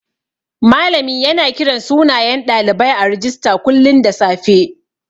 Malami yana kiran sunayen ɗalibai a rijista kullun da safe.